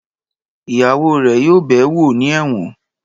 Ìyàwó rẹ̀ yóò bẹ̀ẹ́ wò ní ẹ̀wọ̀n